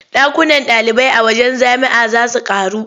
Ɗakunan ɗalibai a wajen jami'a za su ƙaru.